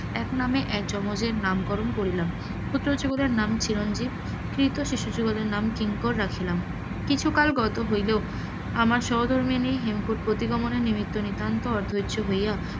একনামে এক যমজের নামকরণ করিলাম, নাম চিরঞ্জিত, দ্বিতীয় শিশুযুগলের নাম কিঙ্কর রাখিলাম, কিছুকাল গত হইলে আমার সহধর্মিনী হেমকূট প্রতিগমনে নিতান্ত অধৈর্য হইয়া,